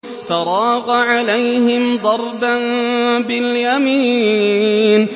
فَرَاغَ عَلَيْهِمْ ضَرْبًا بِالْيَمِينِ